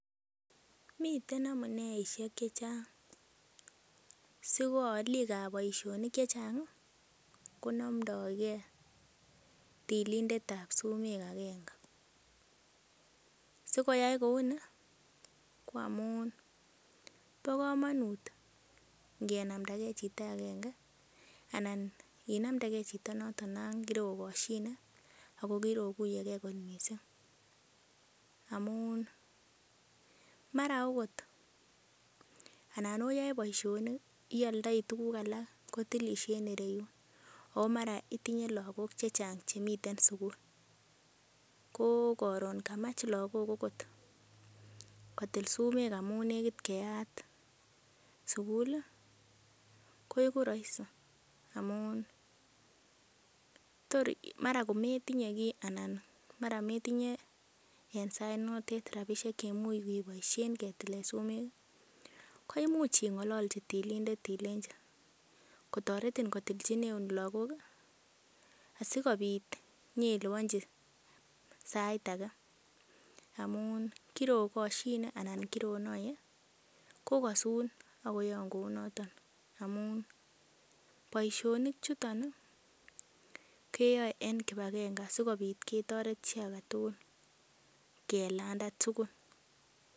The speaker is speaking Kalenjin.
Miten amuneishek che chang siko alik ab boisionik che chang konomdoge tilindet ab sumek agenge. Si koyaak kou ni ko amun bo komonut ngenamdage chito agenge anan inamdege chito non kerokoshine ago kirokuiye ge mising amunmara ogot anan oyoe boisinik , ioldoi tuguk alak kotilisie en ireyun o maraitinye lagok che chang chemiten sugul. Ko karon kamach lagok agot kotil sumek amun negit keyat sugul. Koigu rohisi amun tor mara kometinye kiy anan mara metinye en sainotet rabishek che imuch keboisien ketil sumek koimuch ing'olochi tilindet ilenchi kotoretin kotilchineun lagok asikobit inyeilibonji sait age amunk kirokoshine anan kironoiye kogasun ak koyaun kou noto amun boisionik chuton keyae en kipagenge sikobit ketoret chi age tugul kelanda tugul.